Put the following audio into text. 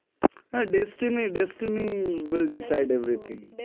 હા destiny will decide every thing